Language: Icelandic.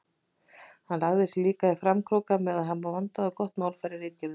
Hann lagði sig líka í framkróka með að hafa vandað og gott málfar í ritgerðunum.